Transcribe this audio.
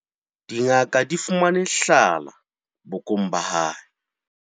Dingaka di fumane hlhala bokong ba hae.